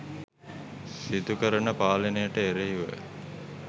සිදු කරන පාලනයට එරෙහිව